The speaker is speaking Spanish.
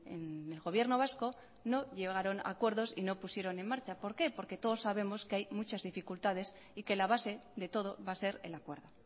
en el gobierno vasco no llegaron a acuerdos y no pusieron en marcha por qué porque todos sabemos que hay muchas dificultades y que la base de todo va a ser el acuerdo